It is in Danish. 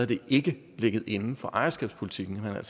det ikke ligget inden for ejerskabspolitikken og